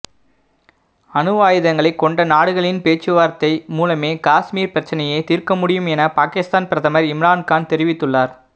அணுவாயுதங்களை கொண்ட நாடுகளின் பேச்சுவார்த்தை மூலமே காஷ்மீர் பிரச்சினையை தீர்க்கமுடியும் என பாகிஸ்தான் பிரதமர் இம்ரான் கான் தெரிவித்துள்ளார்